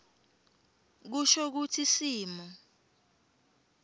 kusho kutsi simo